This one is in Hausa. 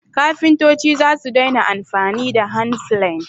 kafintoci zasu daina amfani da handplane